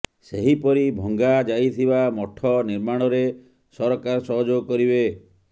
ସେହିପରି ଭଙ୍ଗା ଯାଇଥିବା ମଠ ନିର୍ମାଣରେ ସରକାର ସହଯୋଗ କରିବେ